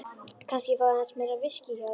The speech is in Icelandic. Kannski ég fái aðeins meira viskí hjá þér.